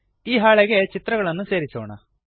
ಈ ಹಾಳೆಗೆ ಚಿತ್ರಗಳನ್ನು ಸೇರಿಸೋಣ